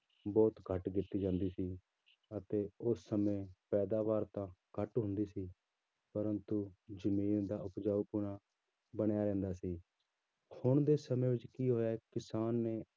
ਬਹੁਤ ਘੱਟ ਕੀਤੀ ਜਾਂਦੀ ਸੀ ਅਤੇ ਉਸ ਸਮੇਂ ਪੈਦਾਵਾਰ ਤਾਂ ਘੱਟ ਹੁੰਦੀ ਸੀ ਪਰੰਤੂ ਜ਼ਮੀਨ ਦਾ ਉਪਜਾਊਪੁਣਾ ਬਣਿਆ ਰਹਿੰਦਾ ਸੀ, ਹੁਣ ਦੇ ਸਮੇਂ ਵਿੱਚ ਕੀ ਹੋਇਆ ਕਿਸਾਨ ਨੇ